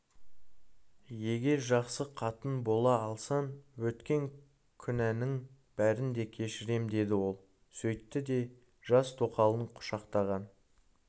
егер жақсы қатын бола алсаң өткен күнәңнің бәрін де кешірем деді ол сөйтті де жас тоқалын құшақтаған